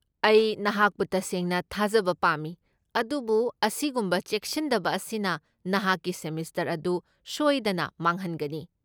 ꯑꯩ ꯅꯍꯥꯛꯄꯨ ꯇꯁꯦꯡꯅ ꯊꯥꯖꯕ ꯄꯥꯝꯃꯤ, ꯑꯗꯨꯕꯨ ꯑꯁꯤꯒꯨꯝꯕ ꯆꯦꯛꯁꯤꯟꯗꯕ ꯑꯁꯤꯅ ꯅꯍꯥꯛꯀꯤ ꯁꯦꯃꯦꯁꯇꯔ ꯑꯗꯨ ꯁꯣꯏꯗꯅ ꯃꯥꯡꯍꯟꯒꯅꯤ꯫